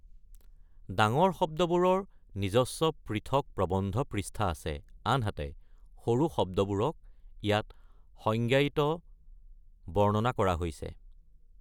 ডাঙৰ শব্দবোৰৰ নিজস্ব পৃথক প্ৰবন্ধ পৃষ্ঠা আছে, আনহাতে সৰু শব্দবোৰক ইয়াত সংজ্ঞায়িত/বৰ্ণনা কৰা হৈছে।